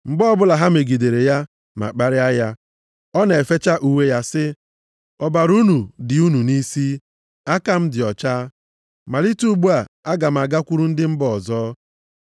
Mgbe ọbụla ha megidere ya ma kparịa ya, ọ na-efecha uwe ya, sị ha, “Ọbara unu dị unu nʼisi, aka m dị ọcha. Malite ugbu a, aga m agakwuru ndị mba ọzọ.”